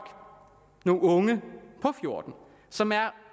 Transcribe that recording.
nogle unge på fjorten som er